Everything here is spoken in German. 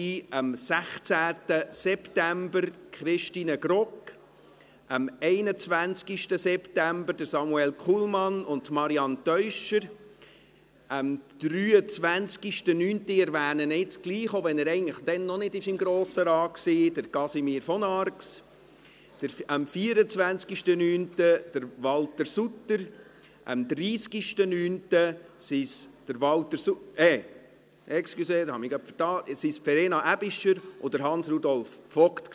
Das waren am 16. September Christine Grogg, am 21. September Samuel Kullmann und Marianne Teuscher, am 23. September – ich erwähne ihn jetzt trotzdem, auch wenn er dann eigentlich noch nicht im Grossen Rat war – Casimir von Arx, am 24. September Walter Sutter, am 30. September Verena Aebischer und Hans-Rudolf Vogt.